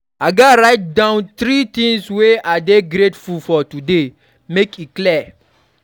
I gats write down three things wey I dey grateful for today, make e clear.